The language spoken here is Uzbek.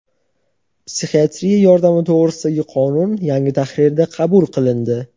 "Psixiatriya yordami to‘g‘risida"gi qonun yangi tahrirda qabul qilindi.